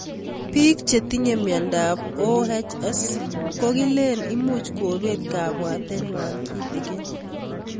Pik chetinye miondop OHS ko kilen much kopet kabwatet ng'wai kitig'in